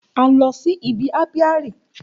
A lọ si ibi ápíárì